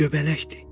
Göbələkdir.